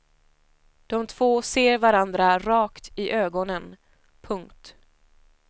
De två ser varandra rakt i ögonen. punkt